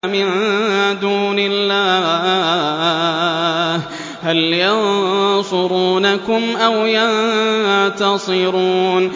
مِن دُونِ اللَّهِ هَلْ يَنصُرُونَكُمْ أَوْ يَنتَصِرُونَ